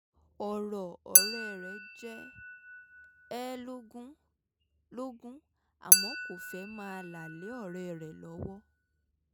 ọ̀rọ̀ ọ̀rẹ́ rẹ̀ jẹ ẹ́ lógún lógún àmọ́ kò fẹ́ máa là lé ọ̀rẹ́ rẹ̀ lọ́wọ́